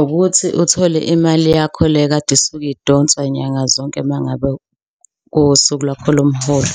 Ukuthi uthole imali yakho le ekade isuke idonswa nyanga zonke uma ngabe kuwusuku lwakho lomholo,